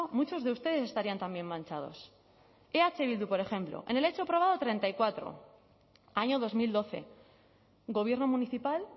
muchos de ustedes estarían también manchados eh bildu por ejemplo en el hecho probado treinta y cuatro año dos mil doce gobierno municipal